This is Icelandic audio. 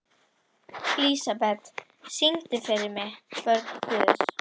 Lísebet, syngdu fyrir mig „Börn Guðs“.